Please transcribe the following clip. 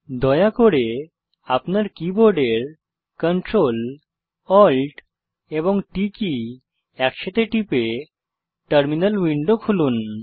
দয়া করে আপনার কীবোর্ডের Ctrl Alt এবং T কী একসাথে টিপে টার্মিনাল উইন্ডো খুলুন